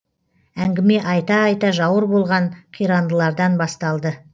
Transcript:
әңгіме айта айта жауыр болған қирандылардан басталды